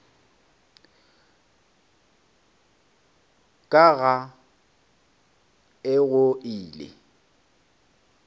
ka ga e go ile